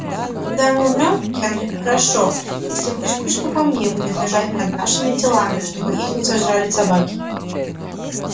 когда мы умрём генри хорошо если хоть кучка камней будет лежать над нашими телами чтобы их не сожрали собаки